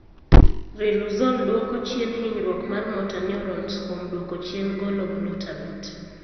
Riluzole dwoko chien hinyruok mar motor neurons kuom dwoko chien golo glutamate.